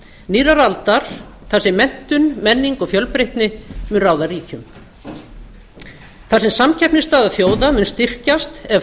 nýrrar aldar þar sem menntun menning og fjölbreytni mun ráða ríkjum þar sem samkeppnisstaða þjóða mun styrkjast ef